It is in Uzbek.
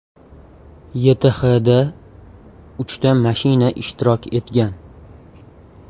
YTHda uchta mashina ishtirok etgan.